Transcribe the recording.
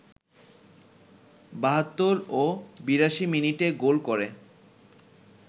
৭২ ও ৮২ মিনিটে গোল করে